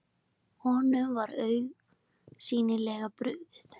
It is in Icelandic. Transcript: Einkenni og gerð steinda